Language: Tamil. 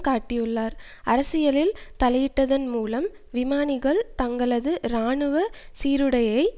காட்டியுள்ளார் அரசியலில் தலையிட்டதன் மூலம் விமானிகள் தங்களது இராணுவ சீருடையைக்